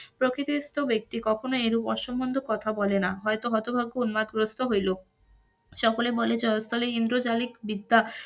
প্রকৃতিস্থ ব্যাক্তি কখনোই এরূপ অসংলগ্ন কথা বলে না হইত হতভাগ্য উন্মাদগ্রস্ত হইল, সকলে বলে জয়স্থলে ইন্দ্রজালিক বিদ্যা